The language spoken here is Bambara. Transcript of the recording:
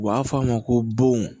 U b'a fɔ a ma ko bon